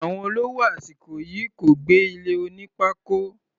Àwọn olówó àsìkò yìí kò gbé ilé oní pákó.